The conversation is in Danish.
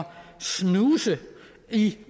snuse i